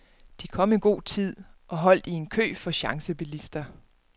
De kom i god tid og holdt i en kø for chancebilister.